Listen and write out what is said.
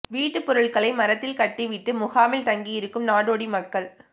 வீட்டு பொருட்களை மரத்தில் கட்டிவிட்டு முகாமில் தங்கியிருக்கும் நாடோடி மக்கள்